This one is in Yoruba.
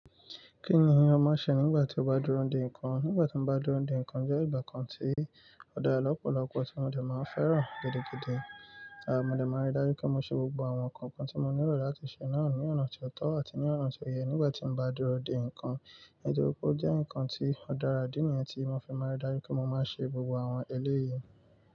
Kí ni o ma n ṣe nígbà tí ó bá n dúró de nǹkan? Nígbà tí mo bá n dúró de nǹkan jẹ́ ìgbà kan tí ó dára lọ́pọ̀lọpọ̀ tí mo lè máa fẹ́ràn gidigidi. Àh mo dè máa n rí dájú pé mo ṣe gbogbo àwọn nǹkan kan tí mo nílò láti ṣe náà ní ọ̀nà ti o tọ́ àti ní ọ̀nà ti o yẹ. Nígbà tí mo bá dúró de nǹkan, nítorí pé ó jẹ́ nǹkan tí ó dára, idí nìyẹn tí mo fi máa ń rí dájú pé mo máa ṣe gbogbo àwọn eléyìí.